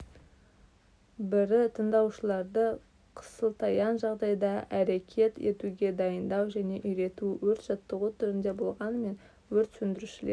бірі тыңдаушыларды қысылтаяң жағдайда әрекет етуге дайындау және үйрету өрт жаттығу түрінде болғанымен өрт сөндірушілер